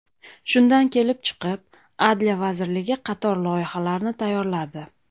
Shundan kelib chiqib, Adliya vazirligi qator loyihalarni tayyorladi.